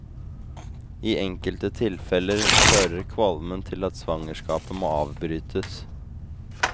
I enkelte tilfeller fører kvalmen til at svangerskapet må avbrytes.